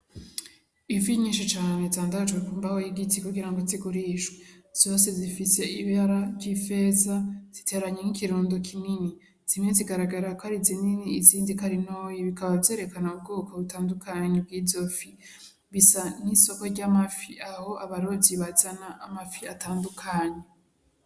Ifi nyinshi cane zandagajwe kumbaho y'igiti kugirango zigurishwe. Zose zifise ibara ry'ifeza, ziteranye nk'ikirundo kinini. Zimwe zigaragara kari zinini izindi kari zitoyi. Bikaba vyerekana ubwoko butandukanye bw'izo fi. Bisa nk'isoko ry'amafi Aho abarovyi bazana amafi atandukanye.